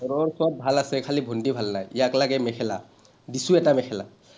overall চব ভাল আছে খালী ভণ্টী ভাল নাই। ইয়াক লাগে মেখেলা, দিছো এটা মোখেলা।